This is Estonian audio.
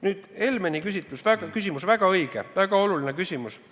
Nüüd Helmeni küsimus – väga õige, väga oluline küsimus.